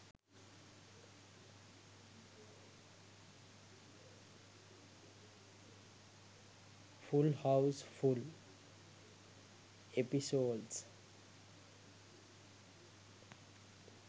full house full episodes